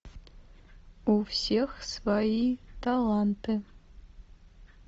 у всех свои таланты